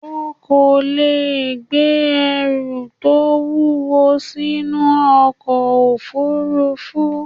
O kò leè gbé ẹrù tó wúwo sí inú ọkọ̀ òfurufú